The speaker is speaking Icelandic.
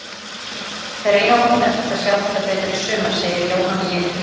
Þeir eiga vonandi eftir að sjá þetta betur í sumar, segir Jóhann léttur.